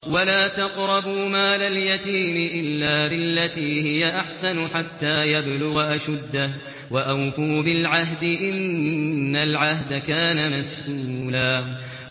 وَلَا تَقْرَبُوا مَالَ الْيَتِيمِ إِلَّا بِالَّتِي هِيَ أَحْسَنُ حَتَّىٰ يَبْلُغَ أَشُدَّهُ ۚ وَأَوْفُوا بِالْعَهْدِ ۖ إِنَّ الْعَهْدَ كَانَ مَسْئُولًا